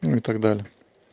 ну и так далее